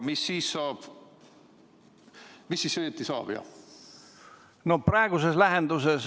Mis siis õieti saab?